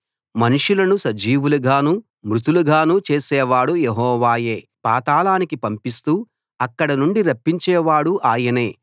మనుషులను సజీవులుగానూ మృతులుగానూ చేసేవాడు యెహోవాయే పాతాళానికి పంపిస్తూ అక్కడినుండి రప్పించే వాడూ ఆయనే